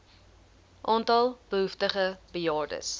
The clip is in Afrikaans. aantal behoeftige bejaardes